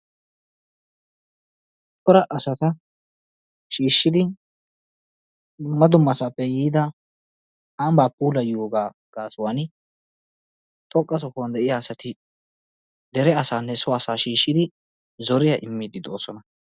Cora asata shiishshidi dumma dummasaappe yiida ambbaa puulayiyogaa gaasuwani xoqqa sohuwaninne de'iya asati dere asaanne heeraa asata shiishshidi zoriya immiiddi doosona.